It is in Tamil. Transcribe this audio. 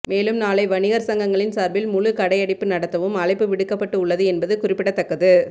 மேலும் நாளை வணிகர் சங்கங்களின் சார்பில் முழு கடை அடைப்பு நடத்தவும் அழைப்பு விடுக்கப்பட்டு உள்ளது என்பது குறிப்பிடத்தக்கது